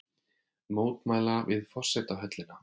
Mótmæla við forsetahöllina